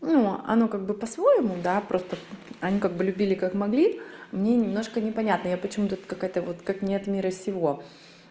ну оно как бы по-своему да просто они как бы любили как могли мне немножко непонятно я почему тут какая-то вот как не от мира сего